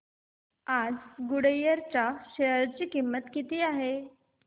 आज गुडइयर च्या शेअर ची किंमत किती आहे